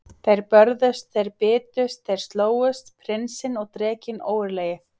Þeir börðust, þeir bitust, þeir slógust, prinsinn og drekinn ógurlegi.